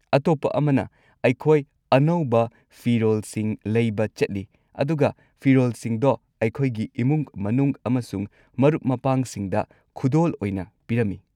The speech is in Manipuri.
ꯑꯇꯣꯞꯄ ꯑꯃꯅ ꯑꯩꯈꯣꯏ ꯑꯅꯧꯕ ꯐꯤꯔꯣꯜꯁꯤꯡ ꯂꯩꯕ ꯆꯠꯂꯤ ꯑꯗꯨꯒ ꯐꯤꯔꯣꯜꯁꯤꯡꯗꯣ ꯑꯩꯈꯣꯏꯒꯤ ꯏꯃꯨꯡ ꯃꯅꯨꯡ ꯑꯃꯁꯨꯡ ꯃꯔꯨꯞ-ꯃꯄꯥꯡꯁꯤꯡꯗ ꯈꯨꯗꯣꯜ ꯑꯣꯏꯅ ꯄꯤꯔꯝꯃꯤ ꯫